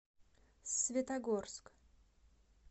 светогорск